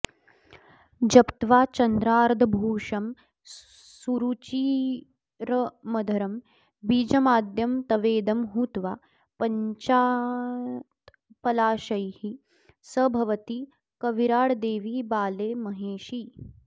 जप्त्वा चन्द्रार्धभूषं सुरुचिरमधरं बीजमाद्यं तवेदं हुत्वा पञ्चात्पलाशैः स भवति कविराड् देवि बाले महेशि